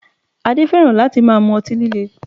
Adé fẹ́ràn láti máa mú ọtí líle